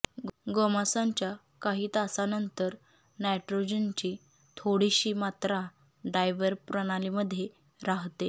गोमांसाच्या काही तासांनंतर नायट्रोजनची थोडीशी मात्रा डायव्हर प्रणालीमध्ये राहते